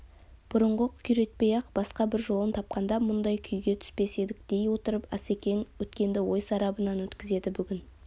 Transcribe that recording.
бұрынғы күйретпей-ақ басқа бір жолын тапқанда мұндай күйге түспес едік дей отырып асекең өткенді ой сарабынан өткізеді бүгінгі